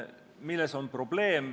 Milles on probleem?